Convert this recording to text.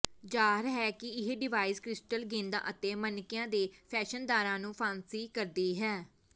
ਜ਼ਾਹਰ ਹੈ ਕਿ ਇਹ ਡਿਵਾਈਸ ਕ੍ਰਿਸਟਲ ਗੇਂਦਾਂ ਅਤੇ ਮਣਕਿਆਂ ਦੇ ਫੈਸ਼ਨਦਾਰਾਂ ਨੂੰ ਫਾਂਸੀ ਕਰਦੀ ਹੈ